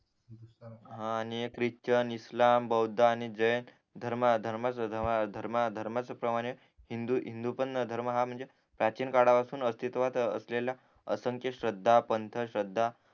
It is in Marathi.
हा आणि हे ख्रिश्चन इस्लाम बौद्ध आणि जैन धर्मा धर्मा धर्माचं प्रमाण हे हिंदू हिंदू पण हा धर्म म्हणजे प्राचीन काळापासून अस्तित्वात असलेला असंख्य श्रद्धा पंत श्रद्धा